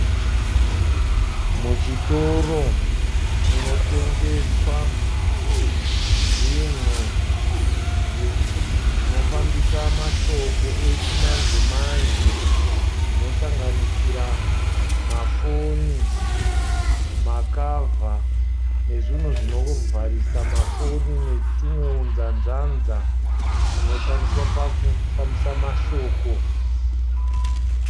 Muchitoro munotengeswa zvinhu zvinofambisa mashoko echimanje manje zvinosanganisira mafoni, makavha nezvinhu zvinovharisa mafoni netwumwe hunzanzanza hunoshandiswa pakufambisa mashoko.